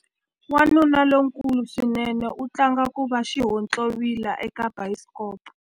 Wanuna lonkulu swinene u tlanga ku va xihontlovila eka bayisikopo.